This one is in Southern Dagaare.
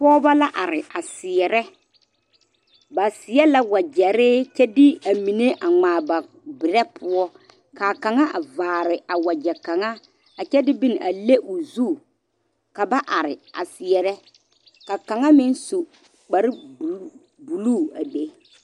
Pɔgeba la are a seɛrɛ ba seɛ la wagyere kyɛ de a mine a ŋmaa ba berɛ poɔ kaa kaŋa a vaare a wagye kaŋa a kyɛ de bon a le o zu ka ba are a seɛrɛ ka ka ŋa meŋ su karo blue a be